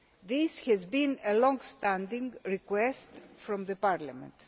This has been a longstanding request from Parliament.